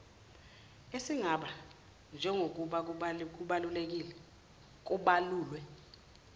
esingaba njengokuba kubalulwe